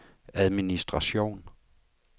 administration